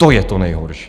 To je to nejhorší.